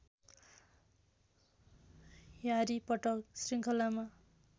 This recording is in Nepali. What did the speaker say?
ह्यारी पट्टर श्रृङ्खलामा